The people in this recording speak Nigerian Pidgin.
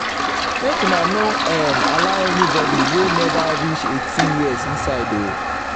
make una no um allow anybodi wey neva reach eighteen years inside o.